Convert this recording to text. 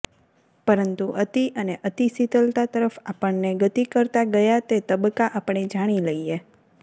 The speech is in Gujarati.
પરંતુ અતિ અને અતિ શીતલતા તરફ આપણને ગતિ કરતાં ગયા તે તબક્કા આપણે જાણી લઈએ